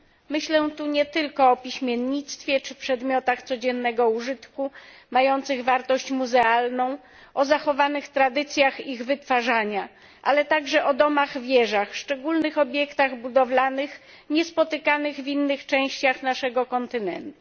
Myślę tu nie tylko o piśmiennictwie czy przedmiotach codziennego użytku mających wartość muzealną, o zachowanych tradycjach ich wytwarzania, ale także o domach wieżach szczególnych obiektach budowlanych niespotykanych w innych częściach naszego kontynentu.